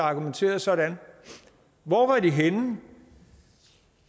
argumenterede sådan hvor var i henne